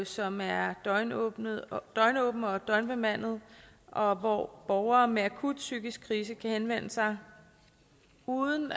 som er døgnåbent og døgnbemandet og hvor borgere med akut psykisk krise kan henvende sig uden